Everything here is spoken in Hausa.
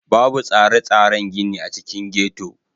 Babu tsare-tsaren gini a cikin ghetto.